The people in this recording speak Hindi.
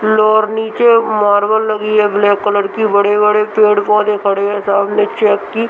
फ्लोर नीचे मार्बल लगी है ब्लैक कलर की बड़े-बड़े पेड़-पौधे खड़े हैं सामने चेक की --